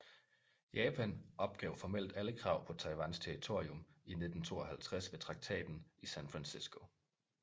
Japan opgav formelt alle krav på Taiwans territorium i 1952 ved Traktaten i San Francisco